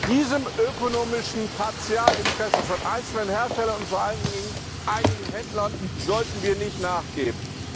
Diesem ökonomischen Partikularinteresse von einzelnen Herstellern und vor allen Dingen einigen Händlern sollten wir nicht nachgeben.